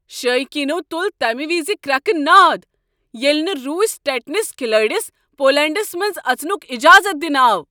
شایقیٖنو تٗل تمہِ وِزِ كركہٕ ناد ییٚلہ نہٕ روسی ٹٮ۪نس كھِلٲڈِس پولینٛڈس منٛز اژنک اجازت دنہٕ آو۔